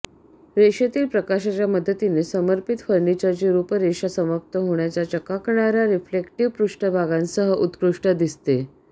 रेषेतील प्रकाशाच्या मदतीने समर्पित फर्निचरची रूपरेषा समाप्त होण्याच्या चकाकणाऱ्या रिफ्लेक्टिव्ह पृष्ठभागांसह उत्कृष्ट दिसते